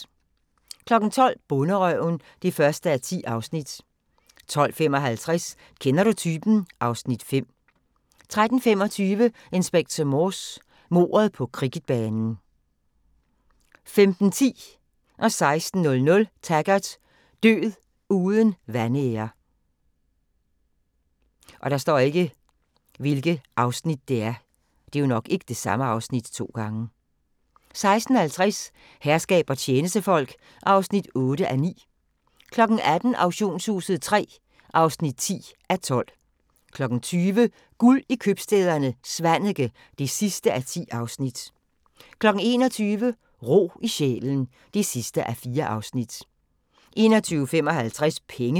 12:00: Bonderøven (1:10) 12:55: Kender du typen? (Afs. 5) 13:25: Inspector Morse: Mordet på cricketbanen 15:10: Taggart: Død uden vanære 16:00: Taggart: Død uden vanære 16:50: Herskab og tjenestefolk (8:9) 18:00: Auktionshuset III (10:12) 20:00: Guld i købstæderne - Svaneke (10:10) 21:00: Ro i sjælen (4:4) 21:55: Penge